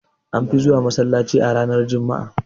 An fi zuwa masallaci a ranar juma'a